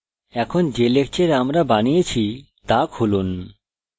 এখন যে লেকচর আমরা বানিয়েছি তা খুলুন